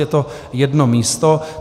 Je to jedno místo.